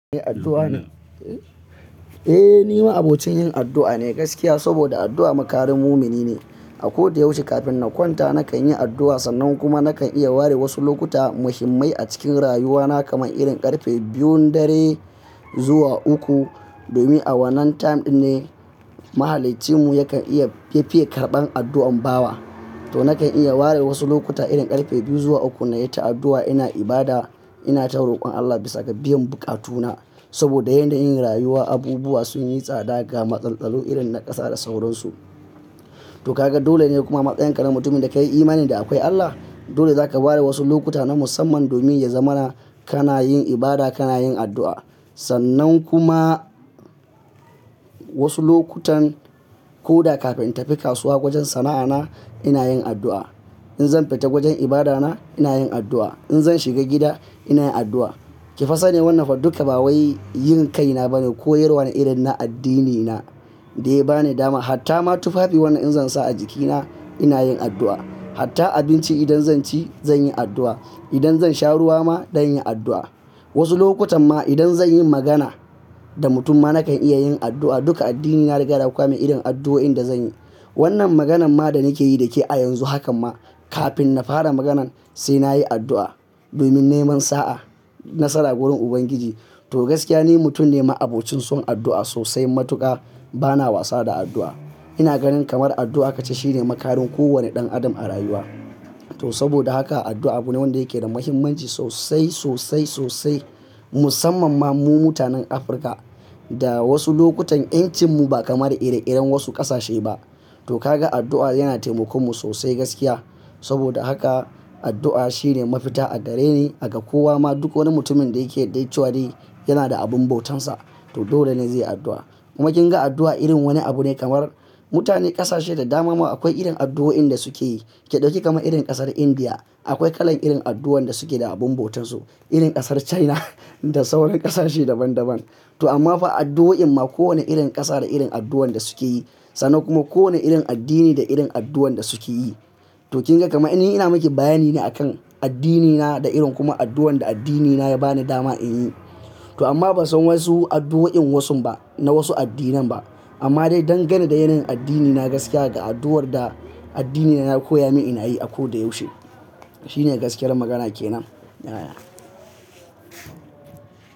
Eh, ni ma abokin yin addu'a ne gaskiya, saboda addu'a makarin mumini ne. A koda yaushe kafin na kwanta nakan yi addu'a, sannan kuma nakan iya ware wasu lokuta muhimmai a cikin rayuwana kamar irin ƙarfe biyun dare zuwa uku, domin a wannan time ɗin ne Mahaliccinmu yakan iya fiffiye karɓan addu'an bawa. To nakan iya ware wasu lokuta irin ƙarfe biyu zuwa uku na yi ta addu'a ina ibada, ina ta rokon Allah bisa ga biyan buƙatuna. Saboda yanda yin rayuwa, abubuwa sun yi tsada ga matsaltsalu irin na ƙasa da sauransu. To ka ga dole ne kuma matsayin ƙanan mutumin da ka yi imani da akwai Allah, dole za ka ware wasu lokuta na musamman domin ya zamana kana yin ibada, kana yin addu'a. Sannan kuma wasu lokutan ko da kafin in tafi kasuwa gwajin sana'ana ina yin addu'a. In zan fita gwajin ibada na ina yin addu'a. In zan shiga gida ina yin addu'a. Ki fa sane wannan duka ba wai yin kaina bane, koyarwa ne irin na addinina da ya ba ni dama. Hatta ma tufafi wannan in zan sa a jikina ina yin addu'a. Hatta abinci idan zan ci zan yi addu'a. Idan zan sha ruwa ma zan yi addu'a. Wasu lokutan ma idan zan yi magana da mutumma nakan iya yin addu'a. Duka addinina ya riga ya kwame irin addu'o'in da zan yi. Wannan maganan ma da nake yi da ke a yanzu hakan ma kafin na fara maganan sai na yi addu'a domin neman sa'a nasara wurin Ubangiji. To gaskiya ni mutum ne mai abokin son addu'a sosai matuƙa. Bana wasa da addu'a. Ina ganin kamar addu'a ka ce shi ne makarin kowane ɗan adam a rayuwa. To saboda haka addu'a abu ne wanda yake da muhimmanci sosai, sosai, sosai. Musamman ma mu mutanen Afirka da wasu lokutan 'yancinmu ba kamar ire-iren wasu ƙasashe ba. To ka ga addu'a yana taimakonmu sosai gaskiya. Saboda haka addu'a shi ne mafita a gare ni, a ga kowa ma duk wani mutumin da yake da icewadi yana da abin bautansa. To dole ne zai yi addu'a. Kuma kin ga addu'a irin wani abu ne kamar mutane ƙasashe da dama ma akwai irin addu'o'in da suke yi. Ki ɗauki kamar irin ƙasar Indiya, akwai kalan irin addu'o'in da suke da abin bautansu. Irin ƙasar China da sauran ƙasashe daban-daban. To amma fa addu'o'in ma kowane irin ƙasa da irin addu'o'in da suke yi. Sannan kuma kowane irin addini da irin addu'o'in da suke yi. To kin ga kamar ni ina maki bayani ne a kan addinina da irin kuma addu'o'in da addinina ya ba ni dama in yi. To amma ban san wasu addu'o'in wasu ba na wasu addinan ba. Amma dai don gani da yanayin addinina gaskiya da addu'ar da addinina ya koya mini ina yi a koda yaushe. Shi ne gaskiyar magana ke nan. Ya.